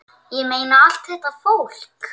Ég meina, allt þetta fólk!